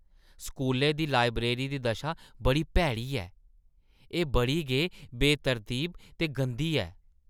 स्कूलै दी लाइब्रेरी दी दशा बड़ी भैड़ी ऐ; एह् बड़ी गै बेतरतीब ते गंदी ऐ।